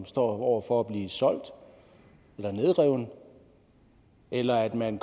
står over for at blive solgt eller nedrevet eller at man